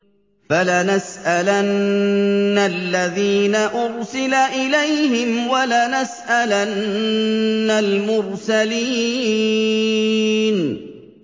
فَلَنَسْأَلَنَّ الَّذِينَ أُرْسِلَ إِلَيْهِمْ وَلَنَسْأَلَنَّ الْمُرْسَلِينَ